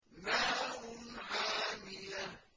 نَارٌ حَامِيَةٌ